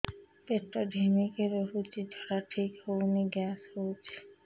ପେଟ ଢିମିକି ରହୁଛି ଝାଡା ଠିକ୍ ହଉନି ଗ୍ୟାସ ହଉଚି